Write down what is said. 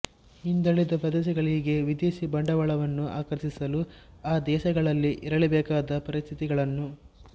ಹಿಂದಳಿದ ದೇಶಗಳಿಗೆ ವಿದೇಶಿ ಬಂಡವಾಳವನ್ನು ಆಕರ್ಷಿಸಲು ಆ ದೇಶಗಳಲ್ಲಿ ಇರಲೇಬೇಕಾದ ಪರಿಸ್ಥಿತಿಗಳನ್ನು